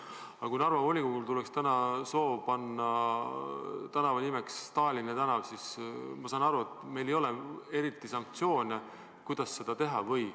Aga kui Narva volikogul tekiks praegu soov panna tänava nimeks Stalini tänav, siis ma saan aru, et meil ei ole eriti sanktsioone ega ka norme, kuidas toimida.